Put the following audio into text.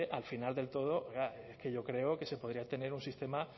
al final del todo oiga es que yo creo que se podría tener un sistema